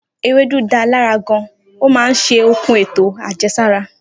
Ewédú da lára gan, ó máa ń ṣe okun eto ajẹsara.